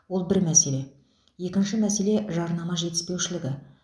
ол бір мәселе екінші мәселе жарнама жетіспеушілігі